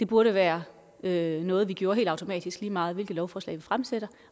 burde være noget vi gjorde helt automatisk lige meget hvilket lovforslag vi fremsatte